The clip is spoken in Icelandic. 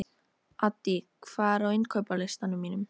Addý, hvað er á innkaupalistanum mínum?